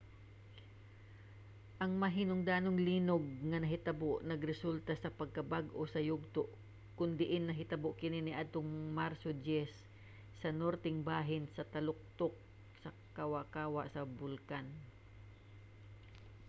ang mahinungdanong linog nga nahitabo nagresulta sa pagkabag-o sa yugto kon diin nahitabo kini niadtong marso 10 sa norteng bahin sa taluktok sa kawa-kawa sa bulkan